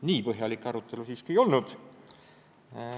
Nii põhjalik arutelu siiski ei olnud.